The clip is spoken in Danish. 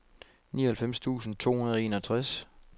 nioghalvfems tusind to hundrede og enogtres